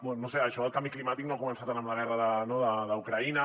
bé no ho sé això del canvi climàtic no ha començat ara amb la guerra d’ucraïna